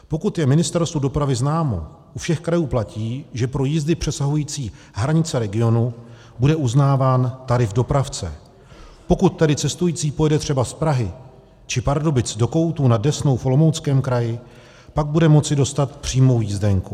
Pokud je Ministerstvu dopravy známo, u všech krajů platí, že pro jízdy přesahující hranice regionu bude uznáván tarif dopravce, pokud tedy cestující pojede třeba z Prahy či Pardubic do Koutů nad Desnou v Olomouckém kraji, pak bude moci dostat přímou jízdenku.